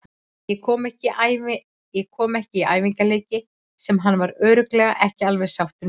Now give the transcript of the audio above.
Ég kom ekki í æfingaleiki sem hann var örugglega ekki alveg sáttur með.